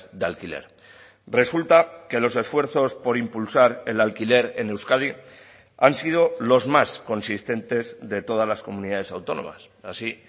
de alquiler resulta que los esfuerzos por impulsar el alquiler en euskadi han sido los más consistentes de todas las comunidades autónomas así